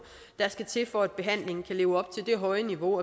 der skal til for at behandlingen kan leve op til det høje niveau